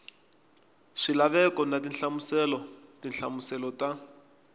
swilaveko na tinhlamuselo tinhlamuselo ta